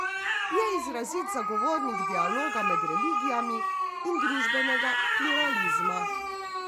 Je izrazit zagovornik dialoga med religijami in družbenega pluralizma.